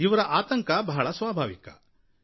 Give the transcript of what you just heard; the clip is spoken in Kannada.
ಇವರ ಆತಂಕ ಬಹಳ ಸ್ವಾಭಾವಿಕವಾಗಿದೆ